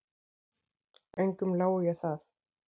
Engum lái ég það.